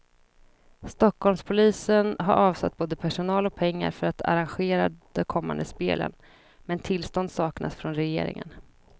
Stockholmspolisen har avsatt både personal och pengar för att arrangera de kommande spelen, men tillstånd saknas från regeringen.